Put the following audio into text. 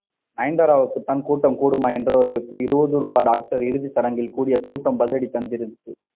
நயன்தாராவுக்கு தான் கூட்டம் கூடுமா என்றவர்களுக்கு இருபது ரூபாய் டாக்டர் இறுதிசடங்கில் கூடிய கூட்டம் பதிலடி தந்திருக்கு